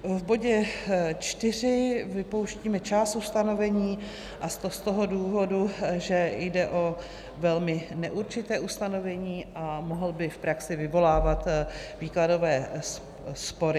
V bodě 4 vypouštíme část ustanovení, a to z toho důvodu, že jde o velmi neurčité ustanovení a mohlo by v praxi vyvolávat výkladové spory.